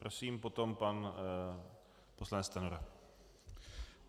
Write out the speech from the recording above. Prosím, potom pan poslanec Stanjura.